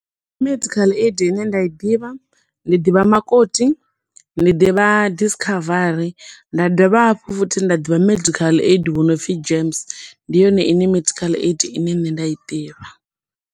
Medical aid ine nda i ḓivha, ndi ḓivha Makoti, ndi ḓivha Discovery, nda dovha hafhu nda ḓivha medical aid wo no pfi GEMS, ndi yone ine medical aid ine nṋe nda i ḓivha.